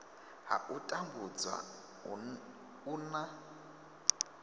ha u tambudzwa u na